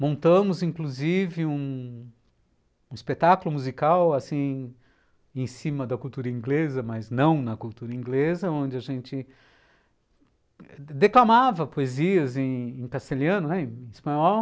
Montamos, inclusive, um espetáculo musical assim... em cima da cultura inglesa, mas não na cultura inglesa, onde a gente declamava poesias em castelhano, em espanhol.